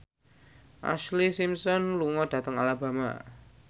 Ashlee Simpson lunga dhateng Alabama